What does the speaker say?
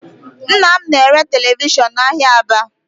Nna m na-ere televishọn n'ahịa Aba